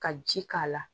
Ka ji k'a la